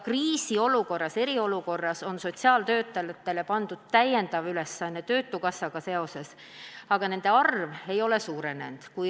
Kriisiolukorras, eriolukorras on sotsiaaltöötajatele pandud lisaülesanne seoses töötukassaga, aga nende töötajate arv ei ole suurenenud.